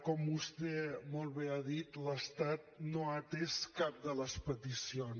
com vostè molt bé ha dit l’estat no ha atès cap de les peticions